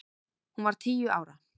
Hún var tíu ára.